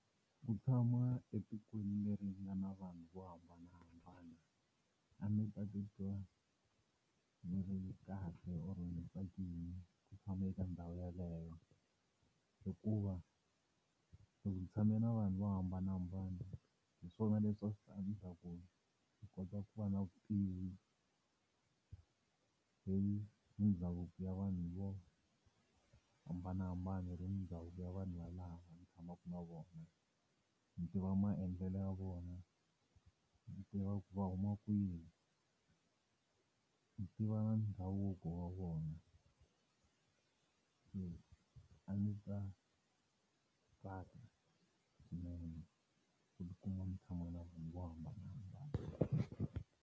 Ku tshama etikweni leri nga na vanhu vo hambanahambana a ni ta titwa ni ri kahle or ni tsakini ku tshama eka ndhawu yeleyo hikuva ni tshame na vanhu vo hambanahambana hiswona leswi a swi ta endla ku ni kota ku va na vutivi hi mindhavuko ya vanhu vo hambanahambana ya vanhu yalava ni tshamaka na vona ndzi tiva maendlelo ya vona, ni tiva ku va huma kwihi ni, tiva na ndhavuko wona se a ndzi ta tsaka swinene ku ti kuma ni tshama na vanhu vo hambanahambana.